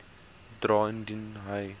dra indien hy